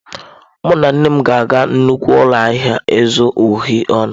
Mụ na nne m ga-aga nnukwu ụlọ ahịa ịzụ uhie ọnụ.